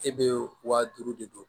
E be wa duuru de don